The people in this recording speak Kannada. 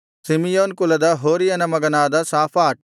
ಸಿಮೆಯೋನ್ ಕುಲದ ಹೋರಿಯನ ಮಗನಾದ ಶಾಫಾಟ್